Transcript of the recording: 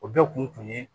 O bɛɛ kun ye